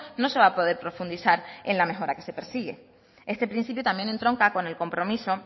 no se va a poder profundizar en la mejora que se persigue este principio también entronca con el compromiso